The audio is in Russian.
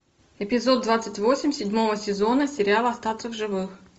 эпизод двадцать восемь седьмого сезона сериал остаться в живых